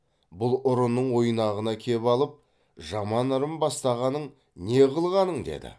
бұл ұрының ойнағына кеп алып жаман ырым бастағаның не қылғаның деді